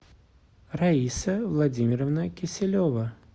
раиса владимировна киселева